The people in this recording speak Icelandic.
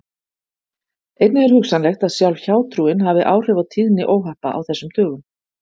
Einnig er hugsanlegt að sjálf hjátrúin hafi áhrif á tíðni óhappa á þessum dögum.